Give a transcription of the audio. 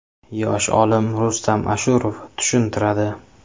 Yosh olim Rustam Ashurov tushuntiradi.